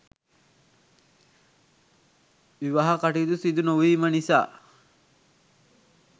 විවාහ කටයුතු සිදුනොවීම නිසා